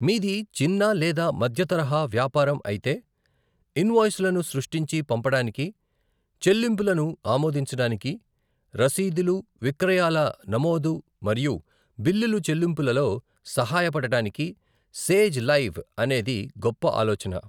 మీది చిన్న లేదా మధ్య తరహా వ్యాపారం అయితే, ఇన్వాయిస్లను సృష్టించి పంపడానికి, చెల్లింపులను ఆమోదించడానికి, రసీదులు, విక్రయాల నమోదు మరియు బిల్లుల చెల్లింపులలో సహాయపడటానికి సేజ్ లైవ్ అనేది గొప్ప ఆలోచన.